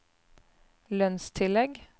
lønnstillegg